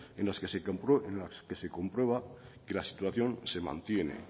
en las que se comprueba que la situación se mantiene